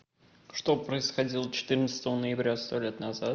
что происходило четырнадцатого ноября сто лет назад